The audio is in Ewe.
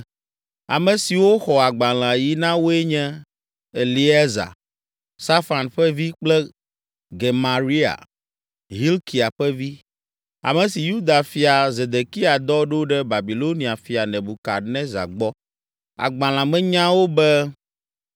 Ame siwo xɔ agbalẽa yi na woe nye, Eleasa, Safan ƒe vi kple Gemaria, Hilkia ƒe vi, ame si Yuda fia Zedekia dɔ ɖo ɖe Babilonia fia Nebukadnezar gbɔ. Agbalẽa me nyawo be: